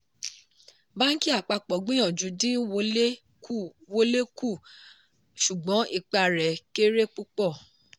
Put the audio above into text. bánkì àpapọ̀ gbìyànjú dín wọlé kù wọlé kù ṣùgbọ́n ipa rẹ̀ kéré púpọ̀.